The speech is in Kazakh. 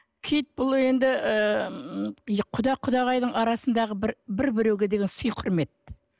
киіт бұл енді ыыы м құда құдағайдың арасындағы бір біреуге деген сый құрмет